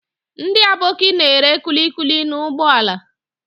Ndị Aboki na-ere kulikuli n'ụgbọala.